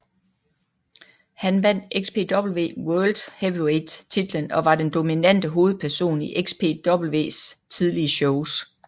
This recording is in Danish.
Han vandt XPW World Heavyweight titlen og var den dominante hovedperson i XPWs tidlige shows